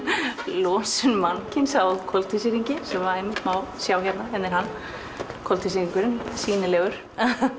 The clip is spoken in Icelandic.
losun mannkyns á koltvísýringi sem einmitt má sjá hérna hér er hann koltvísýringurinn sýnilegur